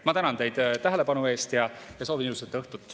Ma tänan teid tähelepanu eest ja soovin ilusat õhtut.